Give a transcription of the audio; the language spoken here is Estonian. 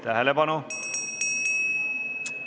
Tähelepanu!